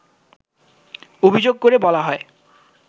অভিযোগ করে বলা হয়